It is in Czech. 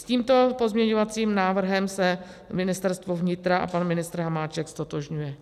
S tímto pozměňovacím návrhem se Ministerstvo vnitra a pan ministr Hamáček ztotožňuje.